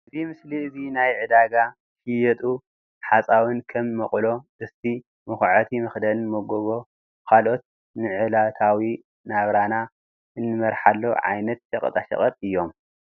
እዚ ምስሊ እዙይ ናይ ዕዳጋ ዝሽየጡ ሓፃዊን ከም መቁሎ ጥስቲ መኩዓቲ መክደን መጎጎ ካልኦት ንዕለታዊ ናብራና እንመርሓሉ ዓይነት ሸቀጣ ሸቀጥ እዩም።